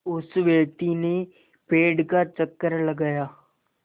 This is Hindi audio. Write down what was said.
उस व्यक्ति ने पेड़ का चक्कर लगाया